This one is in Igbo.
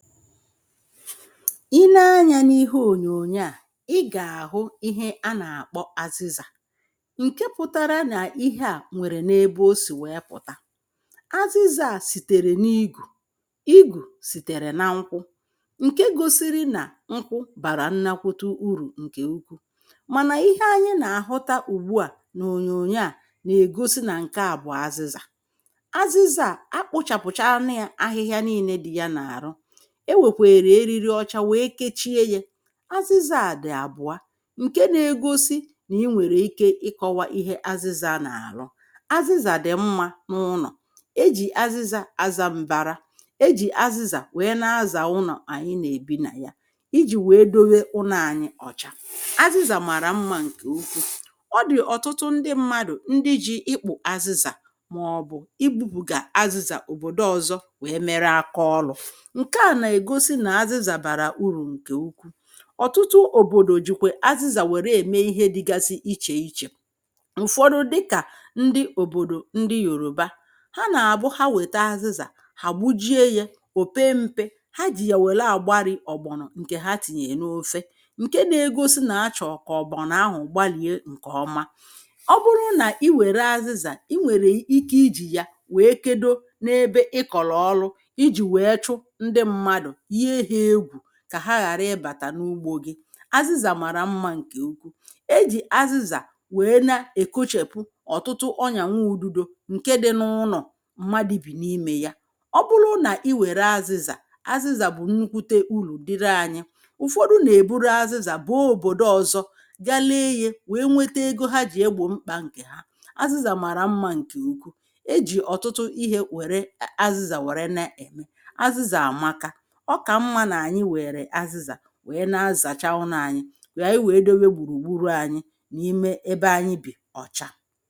Ị ne anyā n’ihe ònyònyo à, ị gà-àhụ ihe anà-àkpọ azịzà ǹke pụtara nà ihe à nwèrè n’ebe o sì wèe pụ̀ta, azịzā à sìtèrè n’igù igù sìtèrè na nkwu ǹke gosiri nà nkwu bàrà nnakwute urù ǹkè ukwuù mànà ihe anyị nà-àhụta ùgbu à n’ònyònyo à nà-ègosi nà ǹkè a bụ̀ azizà azịzà à akpụ̄chàpụ̀chana yā ahịhịa niīnē dị ya n’àrụ e wèkwèrè eriri ọcha wèe kechie ye azịzà à dị̀ àbụ̀a ǹke na-egosi nà ị nwèrè ike ịkọ̄wa ihe azịzā nà-àlụ azịzà dị̀ mmā n’ụnọ̀ ejì azịzà azā m̀bara ejì azịzà wèe na-azà ụnọ̀ ànyị nà-èbi nà ya ijì wèe dowe ụnọ̄ anyị ọ̀cha azịzà màrà mmā ǹkè ukwuù ọ dị̀ ọ̀tụtụ ndị mmadụ̀ ndị ji ịkpụ̀ azịzà màọ̀bụ̀ ibūpụ̀gà azịzà òbòdo ọzọ wèe mere aka ọlụ̄ ǹkè a nà-ègosi nà azịzà bàrà urù ǹkè ukwuù ọ̀tụtụ òbòdò jìkwè azịzà wère ème ihe dịgasi ichè iche ụ̀fọdụ dịkà ndị òbòdò ndị Yoruba ha nà-àbụ ha wète azịzà ha gbujie ye ò pe mpe ha jì yà wère àgbarī ògbònò ǹkè ha tìnyè n’ofe ǹke na-egosi nà achọ̀ kà ògbòno ahụ̀ gbalìe ǹkè ọma. ọ bụrụ nà ị wère azịzà ị nwèrè ike ijì ya wèe kedo n’ebe ị kọ̀lọ̀ ọlụ ijì wèe chụ ndị mmadụ̀, yìe ha egwù kà ha ghàrà ịbàtà n’ugbō gị azịzà màrà mmā ǹkè ukwu ejì azịzà wèe na èkochèpu ọ̀tụtụ ọnyànwududō ǹke dị n’ụnọ̀ m̀madị̄ bì n’imē ya ọ bụlụ nà ị wère azịzà, azịzà bụ̀ nnukwute urù dịrị anyị̄ ụ̀fọdụ nà-èburu azịzà bàa òbòdo ọzọ ga le nyē wèe wete ego ha jì egbò mkpā ǹkè ha. Azịzà màrà mmā ǹkè ukwuù ejì ọ̀tụtụ ihē wère azịzà wère na-ème azịzà àmaka ọ kà mmā nà ànyị wèèrè azịzà wèe na-azàcha ụnọ anyị wà ànyị wèe dowe gbùrù gburù anyị ebe anyị bì ọ̀cha.